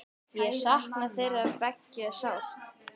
Ég sakna þeirra beggja sárt.